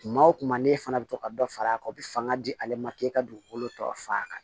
Kuma o kuma ne fana bɛ to ka dɔ fara a kan o bɛ fanga di ale ma k'e ka dugukolo tɔ fa